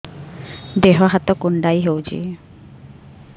ଦେହ ହାତ କୁଣ୍ଡାଇ ହଉଛି